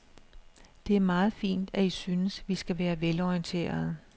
Det er meget fint, at I synes, vi skal være velorienterede.